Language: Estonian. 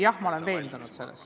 Jah, ma olen selles veendunud.